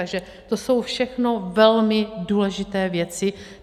Takže to jsou všechno velmi důležité věci.